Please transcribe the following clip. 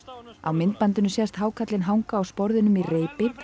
á myndbandinu sést hákarlinn hanga á sporðinum í reipi